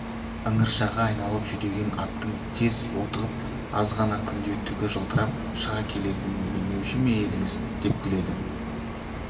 ыңыршағы айналып жүдеген аттың тез отығып азғана күнде түгі жылтырап шыға келетінін білмеуші ме едіңіз деп күледі